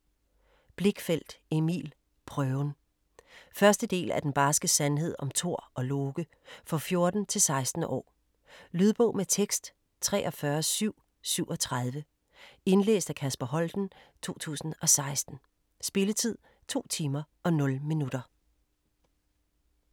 Blichfeldt, Emil: Prøven 1. del af Den barske sandhed om Thor+Loke. For 14-16 år. Lydbog med tekst 43737 Indlæst af Kasper Holten, 2016. Spilletid: 2 timer, 0 minutter.